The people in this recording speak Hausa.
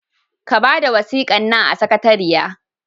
Ka bada wasikan nan a sakatariya!